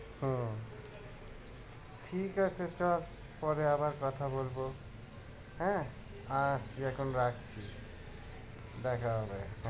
হম ঠিক আছে চল পরে আবার কথা বলবো হ্যাঁ আচ্ছা এখন রাখছি দেখা হবে।